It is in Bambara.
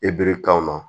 E bibiri kan na